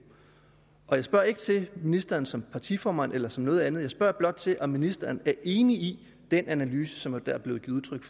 jeg spørger ikke til ministeren som partiformand eller som noget andet jeg spørger blot til om ministeren er enig i den analyse som er blevet udtrykt